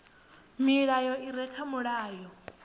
milayo i re kha mulayo